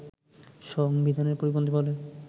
সংবিধানের পরিপন্থী বলে